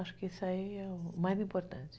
Acho que isso aí é o mais importante.